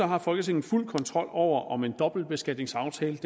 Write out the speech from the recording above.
har folketinget fuld kontrol over om en dobbeltbeskatningsaftale